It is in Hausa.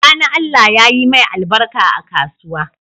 Sani allah yayi mai albarka a kasuwa